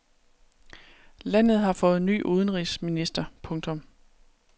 Landet har fået ny udenrigsminister. punktum